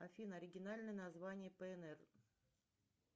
афина оригинальное название пнр